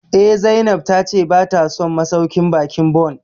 Eh, Zainab ta ce ba ta son masauƙin baƙin Bon